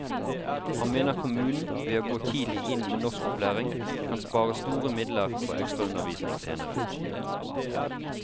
Han mener kommunen, ved å gå tidlig inn med norskopplæring, kan spare store midler på ekstraundervisning senere.